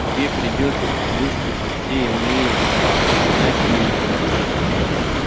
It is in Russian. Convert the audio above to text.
тебе придётся выслушать все иные иначе ты не пойдёшь